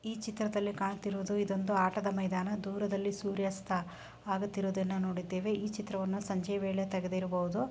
ಈ ಚಿತ್ರದಲ್ಲಿ ಕಾಣುತ್ತಿರುವುದು ಇದೊಂದು ಆಟದ ಮೈದಾನ. ದೂರದಲ್ಲಿ ಸೂರ್ಯಸ್ತ ಆಗುತ್ತಿರುವುದನ್ನು ನೋಡಿದ್ದೇವೆ. ಈ ಚಿತ್ರವನ್ನು ಸಂಜೆ ವೇಳೆ ತೆಗೆದಿರಬಹುದು.